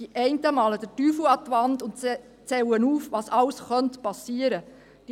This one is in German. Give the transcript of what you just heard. Die einen malen den Teufel an die Wand und zählen auf, was alles geschehen .